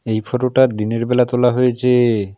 এই ফটোটা দিনের বেলা তোলা হয়েছে।